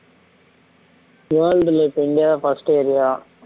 world ல இப்ப India first area